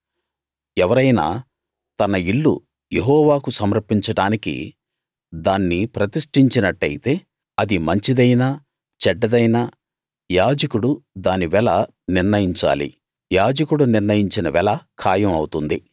ఎవరైనా తన ఇల్లు యెహోవాకు సమర్పించడానికి దాన్ని ప్రతిష్ఠించినట్టయితే అది మంచిదైనా చెడ్డదైనా యాజకుడు దాని వెల నిర్ణయించాలి యాజకుడు నిర్ణయించిన వెల ఖాయం అవుతుంది